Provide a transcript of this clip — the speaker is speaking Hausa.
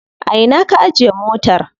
A ina ka ajiye motar?